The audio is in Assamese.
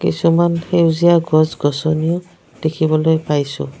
কিছুমান সেউজীয়া গছ-গছনি ও দেখিবলৈ পাইছোঁ।